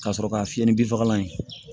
Ka sɔrɔ ka fiyɛ ni binfagalan ye